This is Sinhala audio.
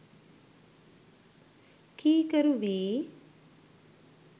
කීකරු වී